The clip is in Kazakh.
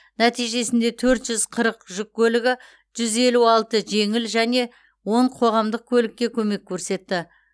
нәтижесінде төрт жүз қырық жүк көлігі жүз елу алты жеңіл және он қоғамдық көлікке көмек көрсетті